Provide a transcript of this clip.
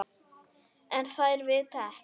En þær vita ekkert.